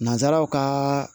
Nanzaraw kaa